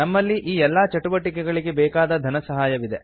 ನಮ್ಮಲ್ಲಿ ಈ ಎಲ್ಲ ಚಟುವಟಿಕೆಗಳಿಗೆ ಬೇಕಾದ ಧನಸಹಾಯವಿದೆ